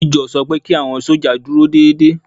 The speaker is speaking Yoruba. Méjọ̀ sọ pé kí àwọn sójà dúró déédédé